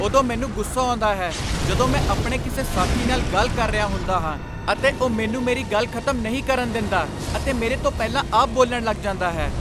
ਉਦੋਂ ਮੈਨੂੰ ਗੁੱਸਾ ਆਉਂਦਾ ਹੈ ਜਦੋਂ ਮੈਂ ਆਪਣੇ ਕਿਸੇ ਸਾਥੀ ਨਾਲ ਗੱਲ ਕਰ ਰਿਹਾ ਹੁੰਦਾ ਹਾਂ ਅਤੇ ਉਹ ਮੈਨੂੰ ਮੇਰੀ ਗੱਲ ਖ਼ਤਮ ਨਹੀਂ ਕਰਨ ਦਿੰਦਾ ਅਤੇ ਮੇਰੇ ਤੋਂ ਪਹਿਲਾਂ ਆਪ ਬੋਲਣ ਲੱਗ ਜਾਂਦਾ ਹੈ।